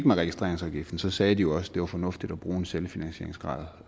med registreringsafgiften sagde de jo også at det var fornuftigt at bruge en selvfinansieringsgrad